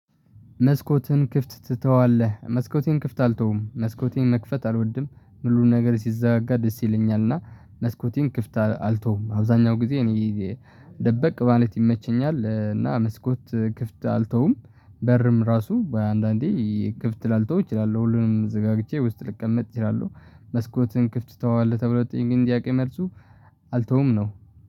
መስኮትን ክፍት ትተዋለህ መስኮቴን ክፍት አልተውም መስኮቴን መክፈት አልወድም ሙሉ ነገር ሲዘጋጋ ደስ ይለኛል። እና መስኮቴን ክፍት አልተውም አብዛኛው ጊዜ እኔ ደበቅ ማለት ይመቸኛል። እና መስኮት ክፍት አልተውም በርም ራሱ በአንዳንዴ ክፍት ላልተው እችላለሁ ሁሉንም ዘጋግቼ ውስጥ ልቀምጥ እችላለሁ። መስኮትን ክፍት ትተዋለ ተብለው ለተጠየቀኝ ጥያቄ መልሱ አልተውም ነው